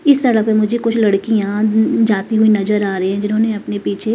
इस तरह से मुझे कुछ लड़कियां जाती हुई नजर आ रही है जिन्होंने अपने पीछे--